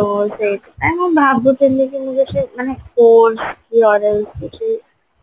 ଅ ସେଇଥିପାଇଁ ମୁଁ ଭାବୁଥିଲି କି ମୁଁ କିଛି ମାନେ course କି କିଛି